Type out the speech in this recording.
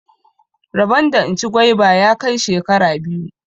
Rabon da in ci gwaiba ya kai shekara biyu.